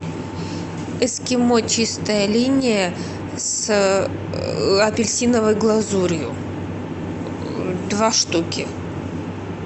эскимо чистая линия с апельсиновой глазурью два штуки